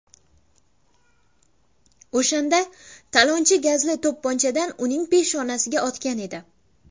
O‘shanda talonchi gazli to‘pponchadan uning peshonasiga otgan edi.